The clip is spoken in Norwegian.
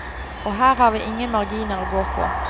Og her har vi ingen marginer å gå på.